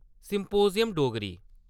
सम्पोजियम-डोगरी